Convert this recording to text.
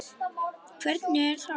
Hvernig er það?